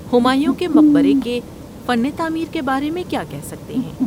ہمایوں کے مقبرے کے فن تعمیر کے بارے میں کیا کہہ سکتے ہیں؟